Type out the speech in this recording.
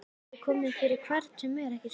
Það getur komið fyrir hvern sem er, ekki satt?